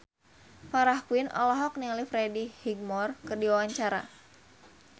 Farah Quinn olohok ningali Freddie Highmore keur diwawancara